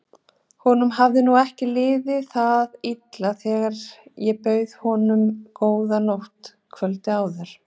Honum hafði nú ekki liðið það illa þegar ég bauð honum góða nótt kvöldið áður.